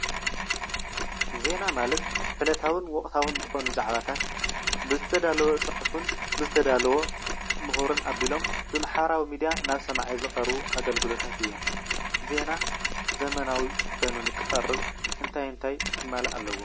ዜና ማለት ዕለታውን ወቕታውያን ዝኾኑ ዛዕባታት ብዝተዳለወ ፅሐፍን ፣ብዝተዳለወ ምሁርን ኣቢሎም ብማሕበራዊ ሚድያ ናብ ሰማዒ ዝቐርቡ ኣገልግሎታት እዮም። ዜና ዘበናዊ ኮይኑ ንኽቐርብ እንታይ እንታይ ክማላእ ኣለዎ?